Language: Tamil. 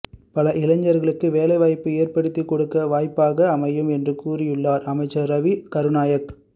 பல இளைஞர்களுக்கு வேலைவாய்ப்பு ஏற்படுத்தி கொடுக்க வாய்ப்பாக அமையும் என்றும் கூறியுள்ளார் அமைச்சர் ரவி கருணாநாயக்க